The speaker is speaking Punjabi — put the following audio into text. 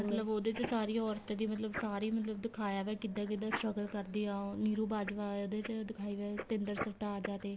ਮਤਲਬ ਉਹਦੇ ਚ ਸਾਰੀਆਂ ਔਰਤਾ ਦੀ ਮਤਲਬ ਸਾਰੀ ਮਤਲਬ ਦਿਖਾਇਆ ਗਿਆ ਕਿੱਦਾਂ ਕਿੱਦਾਂ struggle ਕਰਦੀ ਏ ਉਹ ਨਿਰੂ ਬਾਜਵਾ ਉਹਦੇ ਚ ਦਿਖਾਈ ਗਈ ਏ ਤੇ ਸਤਿੰਦਰ ਸਰਤਾਜ ਦਾ ਤੇ